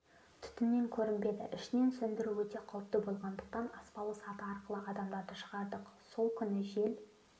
түтіннен көрінбеді ішінен сөндіру өте қауіпті болғандықтан аспалы саты арқылы адамдарды шығардық сол күні жел